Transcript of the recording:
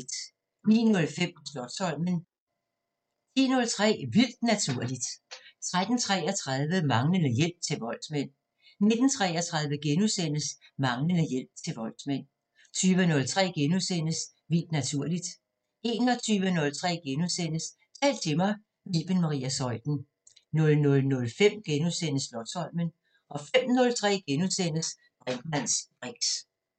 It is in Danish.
09:05: Slotsholmen 10:03: Vildt Naturligt 13:33: Manglende hjælp til voldsmænd 19:33: Manglende hjælp til voldsmænd * 20:03: Vildt Naturligt * 21:03: Tal til mig – med Iben Maria Zeuthen * 00:05: Slotsholmen * 05:03: Brinkmanns briks *